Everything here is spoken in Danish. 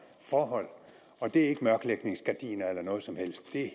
forhold og det er ikke mørklægningsgardiner eller noget som helst det er